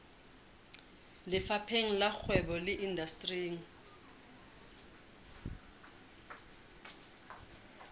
lefapheng la kgwebo le indasteri